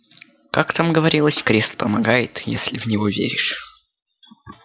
как там говорилось крест помогает если в него веришь